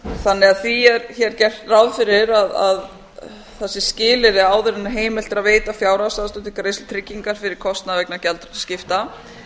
þannig að því er hér gert ráð fyrir að það sé skilyrði áður en heimilt er að veita fjárhagsaðstoð til greiðslu tryggingar fyrir kostnaði vegna